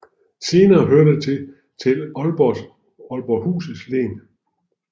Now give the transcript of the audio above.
Senere hørte det til Aalborghus Len